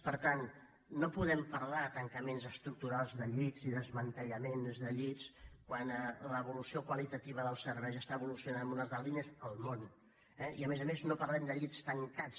per tant no podem parlar de tancaments estructurals de llits i desmantellaments de llits quan l’evolució qualitativa dels serveis evoluciona en unes altres línies al món eh i a més a més no parlem de llits tancats